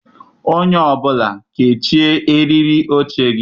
Onye ọ bụla kechie eriri oche gị!